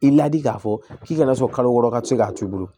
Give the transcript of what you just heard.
I ladi k'a fɔ k'i kana sɔn kalo wɔɔrɔ ka se k'a t'i bolo